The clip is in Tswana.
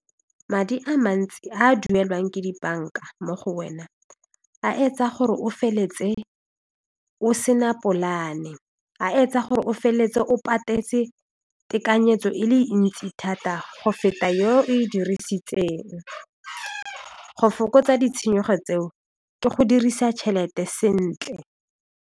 Madi a mantsi a a duelwang ke dibanka mo go wena a etsa gore o feletse o se na polane a etsa gore o feleletse o patetse tekanyetso e le ntsi thata go feta yeo e dirisitseng go fokotsa ditshenyego tseo ke go dirisa tšhelete sentle.